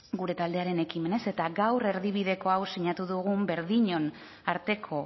gure taldearen ekimenez eta gaur erdibideko hau sinatu dugun berdinon arteko